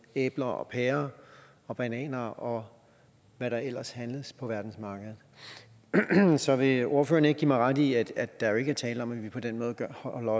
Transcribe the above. æbler pærer og bananer og hvad der ellers handles på verdensmarkedet så vil ordføreren ikke give mig ret i at der jo ikke er tale om at vi på den måde gør